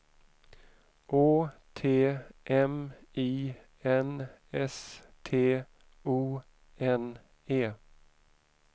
Å T M I N S T O N E